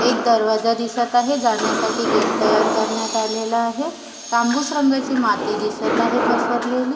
एक दरवाजा दिसत आहे जाण्यासाठी गेट तयार करण्यात आलेल आहे तंबूस रंगाची माती दिसत आहे पसरलेली.